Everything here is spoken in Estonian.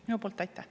Aitäh!